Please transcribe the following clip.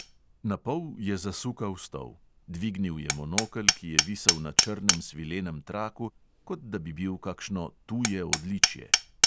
Napol je zasukal stol; dvignil je monokel, ki je visel na črnem svilenem traku, kot da bi bil kakšno tuje odličje.